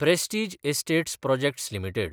Prestige Estates Projects limited